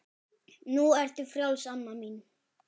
Nú ertu frjáls amma mín.